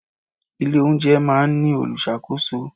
Ilé oúnjẹ máa ń ní olùṣàkóso.